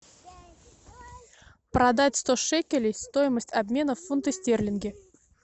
продать сто шекелей стоимость обмена в фунты стерлинги